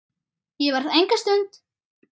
Ég verð enga stund!